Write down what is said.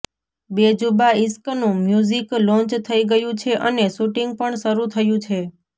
બેજુબાં ઈશ્કનું music launch થઈ ગયું છે અને શૂટિંગ પણ શરૂ થયું છે